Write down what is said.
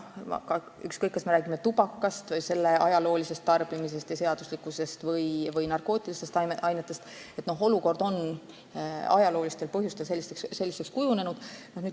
Ükskõik, kas me räägime tubakast, selle tarbimisest ja seaduslikkusest, või narkootilistest ainetest – olukord on ajaloolistel põhjustel selliseks kujunenud.